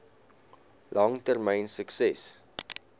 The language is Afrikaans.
lang termyn sukses